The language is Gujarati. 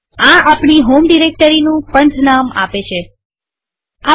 આ આપણી હોમ ડિરેક્ટરીનું પંથનામપાથનેમ આપે છે